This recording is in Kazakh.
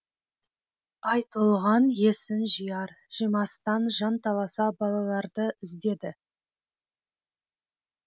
айтолған есін жияр жимастан жанталаса балаларды іздеді